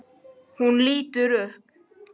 Hún lítur upp.